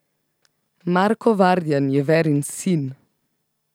Marko Vardjan je Verin sin.